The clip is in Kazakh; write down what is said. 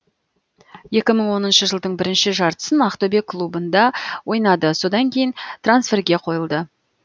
екі мың оныншы жылдың бірінші жартысын ақтөбе клубында ойнады содан кейін трансферге қойылды